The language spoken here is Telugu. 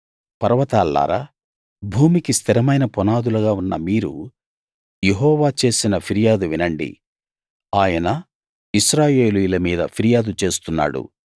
పర్వతాల్లారా భూమికి స్థిరమైన పునాదులుగా ఉన్న మీరు యెహోవా చేసిన ఫిర్యాదు వినండి ఆయన ఇశ్రాయేలీయుల మీద ఫిర్యాదు చేస్తున్నాడు